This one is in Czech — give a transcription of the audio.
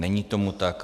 Není tomu tak.